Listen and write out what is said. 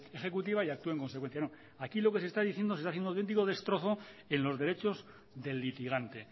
ejecutiva y actúe en consecuencia no aquí lo que se está diciendo es un auténtico destrozo en los derechos del litigante